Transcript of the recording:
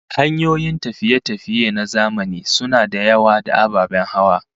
Hanyoyin tafiye-tafiye na zamani suna da yawa, da ababen hawa